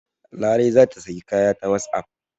Larai za ta sayi kaya ta wasapp.